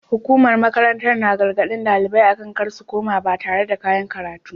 Hukumar makarantar ta gargaɗi ɗalibai akan kar su kuma ɓatar da kayan koya karatu.